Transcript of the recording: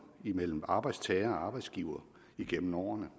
imellem arbejdstagere og arbejdsgivere igennem årene